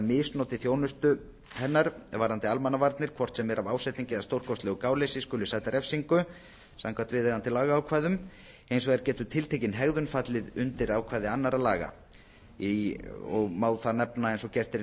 misnoti þjónustu hennar varðandi almannavarnir hvort sem er af ásetningi eða stórkostlegu gáleysi skuli sæta refsingu samkvæmt viðeigandi lagaákvæðum hins vegar getur tiltekin hegðun fallið undir ákvæði annarra laga og má þar nefna eins og gert er í